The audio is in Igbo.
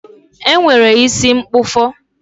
E nwere isi mkpụfọ